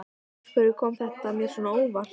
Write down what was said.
Og af hverju kom þetta mér svona á óvart?